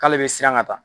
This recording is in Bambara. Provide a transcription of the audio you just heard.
K'ale bɛ siran ka taa